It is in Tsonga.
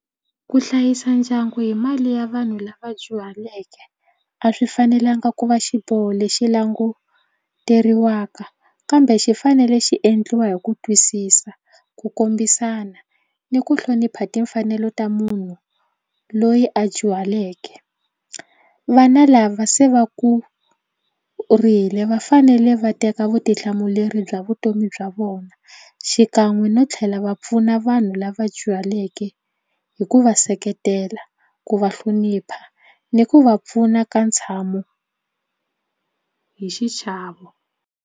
Ku hlayisa ndyangu hi mali ya vanhu lava dyuhaleke a swi fanelanga ku va xiboho lexi languteriwaka kambe xi fanele xi endliwa hi ku twisisa ku kombisana ni ku hlonipha timfanelo ta munhu loyi a dyuhaleke. Vana lava se va kurile va fanele va teka vutihlamuleri bya vutomi bya vona xikan'we no tlhela va pfuna vanhu lava dyuhaleke hi ku va seketela ku va hlonipha ni ku va pfuna ka ntshamo hi xichavo.